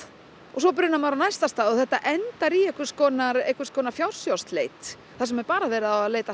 svo brunar maður á næsta stað og þetta endar í einhvers konar einhvers konar fjársjóðsleit þar sem er bara verið að leita